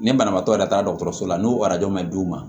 Ni banabaatɔ yɛrɛ taara dɔgɔtɔrɔso la n'u ma d'u ma